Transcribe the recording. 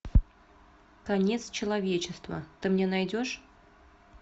конец человечества ты мне найдешь